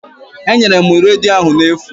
Enyere m redio ahụ n'efu